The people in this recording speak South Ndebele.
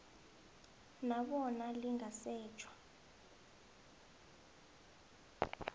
na bona lingasetjha